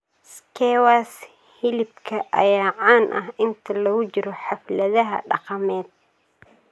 Skewers hilibka ayaa caan ah inta lagu jiro xafladaha dhaqameed.